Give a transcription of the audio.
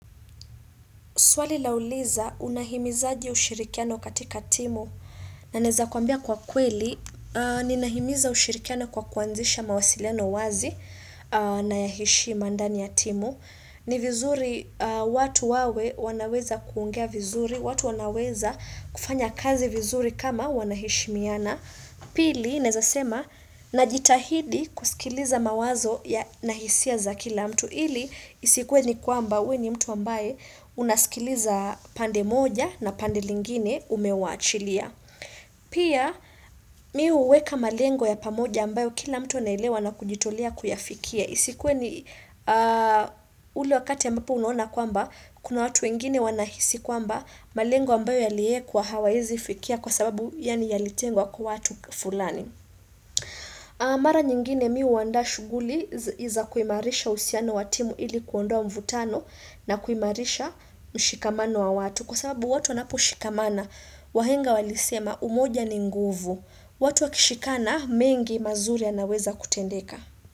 Swali lauliza unahimizaje ushirikiano katika timu na naeza kuambia kwa kweli. Ninaimiza ushirikiano kwa kuanzisha mawasiliano wazi na ya heshima ndani ya timu. Ni vizuri watu wawe wanaweza kuongea vizuri, watu wanaweza kufanya kazi vizuri kama wanaheshimiana. Pili, naeza sema, najitahidi kusikiliza mawazo ya na hisia za kila mtu. Ili isikuwe ni kwamba uwe ni mtu ambaye unasikiliza pande moja na pande lingine umewachilia. Pia mimi huweka malengo ya pamoja ambayo kila mtu anaelewa na kujitolea kuyafikia. Isikuwe ni ulu wakati ya mbapu unuona kwamba kuna watu wengine wanahisi kwamba malengo ambayo yaliyekwa hawawezi fikia kwa sababu yaani yalitengwa kwa watu fulani. Mara nyingine mimi huanda shughuli za kuimarisha uhusiano wa timu ili kuondoa mvutano na kuimarisha mshikamano wa watu. Kwa sababu watu wanapo shikamana, wahenga walisema umoja ni nguvu. Watu wakishikana mengi mazuri yanaweza kutendeka.